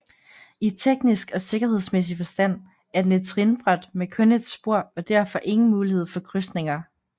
I teknisk og sikkerhedsmæssig forstand er den et trinbræt med kun et spor og derfor ingen mulighed for krydsninger